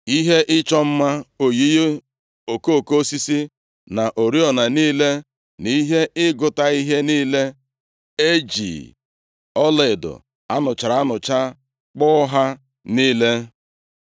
ihe ịchọ mma oyiyi okoko osisi, na oriọna niile na ihe ịgụta ihe niile. E ji ọlaedo a nụchara anụcha kpụọ ha niile.